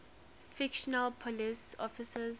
fictional police officers